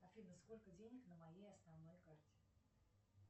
афина сколько денег на моей основной карте